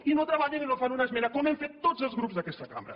i no treballen i no fan una esmena com hem fet tots els grups d’aquesta cambra